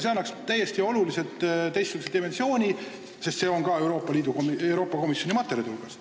See annaks seadusele täiesti teistsuguse dimensiooni ja see on ka Euroopa Komisjoni materjalis kirjas.